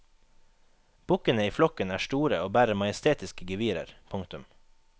Bukkene i flokken er store og bærer majestetiske gevirer. punktum